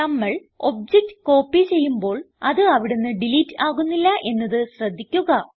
നമ്മൾ object copy ചെയ്യുമ്പോൾ അത് അവിടുന്ന് ഡിലീറ്റ് ആകുന്നില്ല എന്നത് ശ്രദ്ധിക്കുക